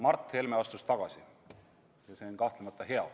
Mart Helme astus tagasi ja see on kahtlemata hea.